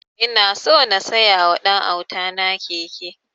Ina so na siya wa ɗan auta na keke